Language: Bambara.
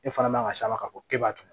E fana man kan ka s'a ma k'a fɔ e b'a dun